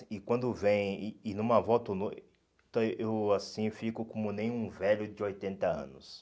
E quando vem, e e numa volta, eu assim fico como nenhum velho de oitenta anos.